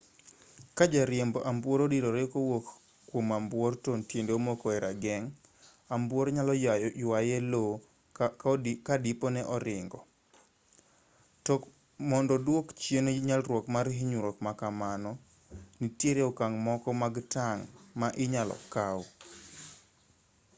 ka jariemb ambuor odirore kowuok kwom ambuor to tiende omoko e rageng' ambuor nyalo ywaye e lowo ka dipo ni oringo toko mondo duok chien nyalruok mar hinyruok ma kamano nitiere okang' moko mag tang' ma inyalo kaw